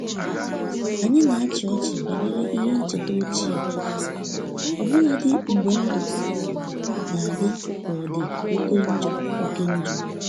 Anyi na achi ọchi banyere ihe ncheta ochie, ọbụladi mgbe ndụ na-adi ka ọdi oke njọ oke njọ